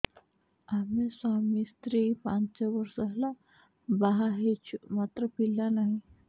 ଆମେ ସ୍ୱାମୀ ସ୍ତ୍ରୀ ପାଞ୍ଚ ବର୍ଷ ହେଲା ବାହା ହେଇଛୁ ମାତ୍ର ପିଲା ନାହିଁ